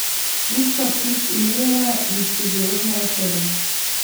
Pušča vtis umirjene in študiozne osebe.